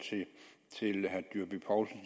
til herre dyrby paulsen